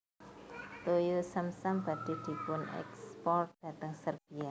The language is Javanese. Toyo zam zam badhe dipunekspor dateng Serbia